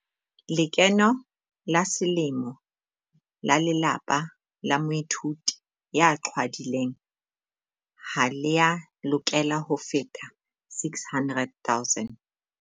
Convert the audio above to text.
Lekeno la selemo la lelapa la moithuti ya qhwadileng ha le a lokela ho feta R600 000.